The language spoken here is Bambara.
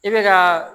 E bɛ ka